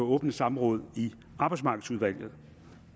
åbne samråd i arbejdsmarkedsudvalget